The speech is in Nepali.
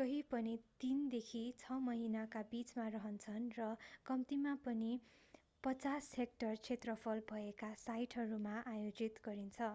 कहीँ पनि तीनदेखि छ महिनाका बिचमा रहन्छन् र कम्तिमा पनि 50 हेक्टर क्षेत्रफल भएका साइटहरूमा आयोजित गरिन्छ